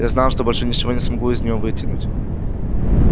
я знал что больше ничего не смогу из неё вытянуть